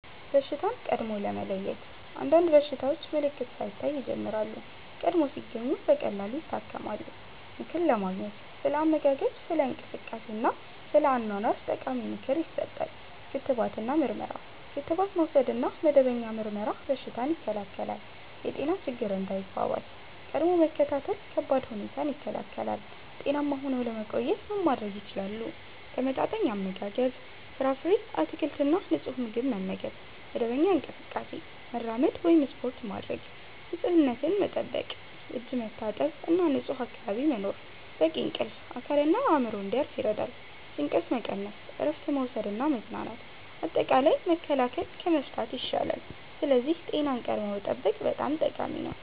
በሽታን ቀድሞ ለመለየት – አንዳንድ በሽታዎች ምልክት ሳይታይ ይጀምራሉ፤ ቀድሞ ሲገኙ ቀላል ይታከማሉ። ምክር ለማግኘት – ስለ አመጋገብ፣ ስለ እንቅስቃሴ እና ስለ አኗኗር ጠቃሚ ምክር ይሰጣል። ክትባት እና ምርመራ – ክትባት መውሰድ እና መደበኛ ምርመራ በሽታን ይከላከላል። የጤና ችግኝ እንዳይባባስ – ቀድሞ መከታተል ከባድ ሁኔታን ይከላከላል። ጤናማ ሆነው ለመቆየት ምን ማድረግ ይችላሉ? ተመጣጣኝ አመጋገብ – ፍራፍሬ፣ አትክልት እና ንጹህ ምግብ መመገብ። መደበኛ እንቅስቃሴ – መራመድ ወይም ስፖርት ማድረግ። ንፁህነት መጠበቅ – እጅ መታጠብ እና ንጹህ አካባቢ መኖር። በቂ እንቅልፍ – አካልና አእምሮ እንዲያርፍ ይረዳል። ጭንቀት መቀነስ – እረፍት መውሰድ እና መዝናናት። አጠቃላይ፣ መከላከል ከመፍታት ይሻላል፤ ስለዚህ ጤናን ቀድሞ መጠበቅ በጣም ጠቃሚ ነው።